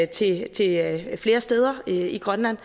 til til flere steder i grønland